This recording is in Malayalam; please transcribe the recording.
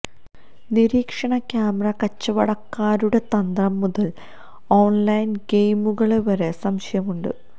നിരീക്ഷണ ക്യാമറ കച്ചവടക്കാരുടെ തന്ത്രം മുതല് ഓണ്ലൈന് ഗെയിമുകളെ വരെ സംശയമുണ്ട്